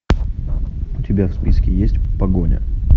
у тебя в списке есть погоня